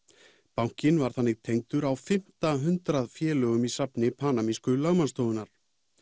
bankinn var þannig tengdur á fimmta hundrað félögum í safni panamísku lögmannsstofunnar